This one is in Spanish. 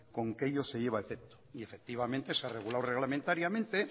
con que ello se lleva a efecto y efectivamente se ha regulado reglamentariamente